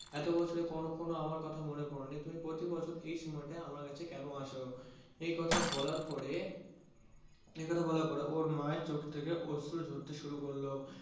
এতো বছরে কোনো কখনো আমার কথা মনে পড়েনি, তুমি প্রতি বছর এই সময়তায় আমার কাছে কেন আসো? একথা বলার পরে একথা বলার পরে ওর মায়ের চোখ থেকে অশ্রু ঝরতে শুরু করলো।